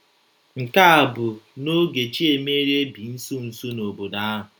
Nke a bụ n’oge Chiemerie bi nso nso n’obodo ahụ.